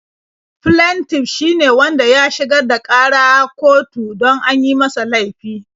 Flentif shi ne wanda ya shigar da ƙara kotu don an yi masa laifi.